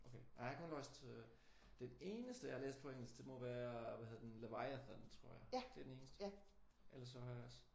Okay ja jeg har kun læst øh den eneste jeg har læst på engelsk det må være hvad hed den? Laviathan tror jeg. Det er den eneste. Ellers så har jeg også